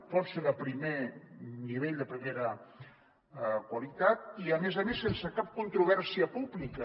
pot ser de primer nivell de primera qualitat i a més a més sense cap controvèrsia pública